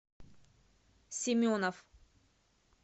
семенов